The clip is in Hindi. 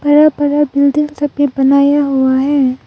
बड़ा बड़ा बिल्डिंग सब भी बनाया हुआ है।